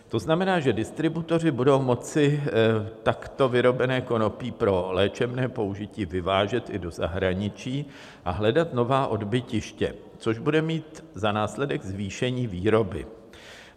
To znamená, že distributoři budou moci takto vyrobené konopí pro léčebné použití vyvážet i do zahraničí a hledat nová odbytiště, což bude mít za následek zvýšení výroby.